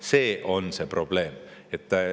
See on see probleem.